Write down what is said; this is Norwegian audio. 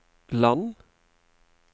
land